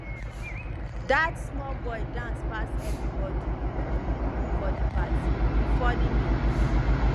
dat small boy dance pass everybodi for di party e funny me